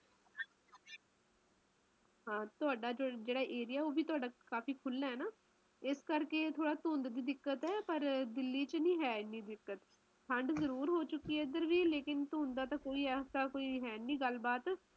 ਹਾ ਤੁਹਾਡਾ ਜਿਹੜਾ area ਉਹ ਵੀ ਕਾਫੀ ਖੁੱਲਾ ਹੈ ਨਾ ਏਸ ਕਰਕੇ ਤੁਹਾਨੂੰ ਧੁੰਦ ਦੀ ਦਿੱਕਤ ਹੈ ਨਾ ਪਾਰ ਦਿੱਲੀ ਚ ਨਹੀਂ ਆਂਦੀ ਇਹ ਦਿੱਕਤ ਠੰਡ ਜ਼ਰੂਰ ਹੋ ਚੁਕੀ ਐ ਇਧਰ ਵੀ ਲੇਕਿਨ ਧੁੰਦ ਦਾ ਤਾ ਕੋਈ ਐੱਸਾ ਹੈ ਨੀ ਗੱਲ ਬਾਤ